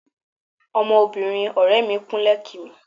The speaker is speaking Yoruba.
Ọmọbìnrin ọ̀rẹ́ẹ mi kúnlẹ̀ kí mi.